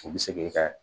U bɛ se k'i ka